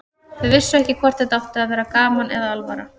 Þau vissu ekki hvort þetta átti að vera gaman eða alvara.